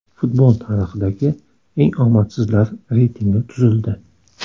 Futbol tarixidagi eng omadsizlar reytingi tuzildi.